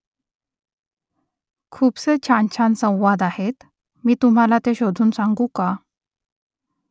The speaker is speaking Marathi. खूपसे छानछान संवाद आहेत मी तुम्हाला ते शोधून सांगू का ?